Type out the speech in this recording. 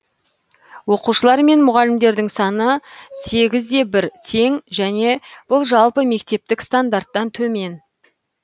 оқушылар мен мұғалімдердің саны сегіз де бір тең және бұл жалпы мектептік стандарттан төмен